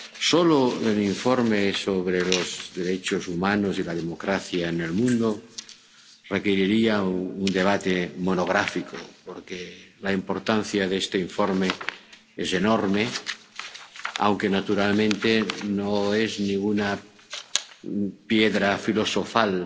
Solo el informe sobre los derechos humanos y la democracia en el mundo requeriría un debate monográfico, porque la importancia de este informe es enorme, aunque naturalmente no es ninguna piedra filosofal